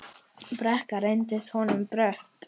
Brekka reynst honum brött.